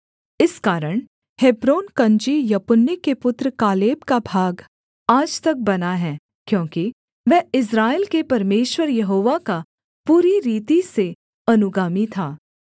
इस कारण हेब्रोन कनजी यपुन्ने के पुत्र कालेब का भाग आज तक बना है क्योंकि वह इस्राएल के परमेश्वर यहोवा का पूरी रीति से अनुगामी था